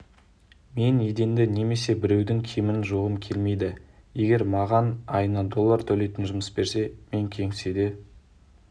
мен еденді немесе біреудің киімін жуғым келмейді егер маған айына доллар төлейтін жұмыс берсе мен кеңседе